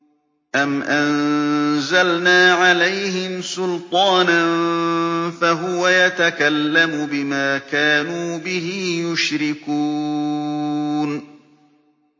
أَمْ أَنزَلْنَا عَلَيْهِمْ سُلْطَانًا فَهُوَ يَتَكَلَّمُ بِمَا كَانُوا بِهِ يُشْرِكُونَ